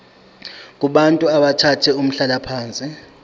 kubantu abathathe umhlalaphansi